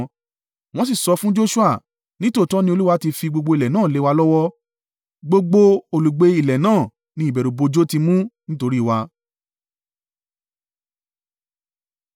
Wọ́n sì sọ fún Joṣua, “Nítòótọ́ ni Olúwa tí fi gbogbo ilẹ̀ náà lé wa lọ́wọ́; gbogbo olùgbé ilẹ̀ náà ni ìbẹ̀rùbojo ti mú nítorí i wa.”